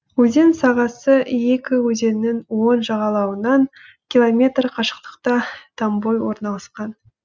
өзен сағасы екі өзеннің оң жағалауынан километр қашықтықта томбой орналасқан